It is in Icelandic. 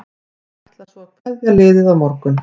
Hann ætlar svo að kveðja liðið á morgun.